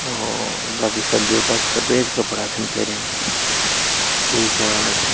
और बाकी सभियों का सफेद कपड़ा छन पैर्यां कुई जाणा छन ।